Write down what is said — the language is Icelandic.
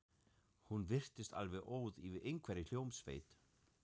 Hún virtist alveg óð yfir einhverri hljómsveit.